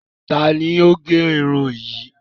Tani o gé irun yìí?